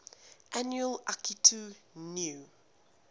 annual akitu new